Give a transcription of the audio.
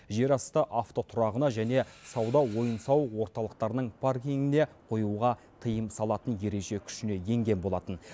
жерасты автотұрағына және сауда ойын сауық орталықтарының паркингіне қоюға тыйым салатын ереже күшіне енген болатын